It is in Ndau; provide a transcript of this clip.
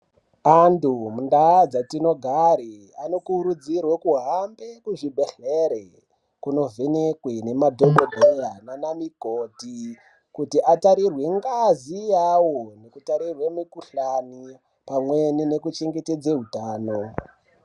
Antu mundaa dzatinogare anokurudzirwe kuhambe kuzvibhehlere kunovhenekwe nemadhokodheya nana mikoti kuti atarirwe ngazi yawo nekutarirwe mikhuhlani pamweni nekuchengetedze utano.